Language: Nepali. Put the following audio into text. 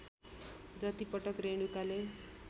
जतिपटक रेणुकाले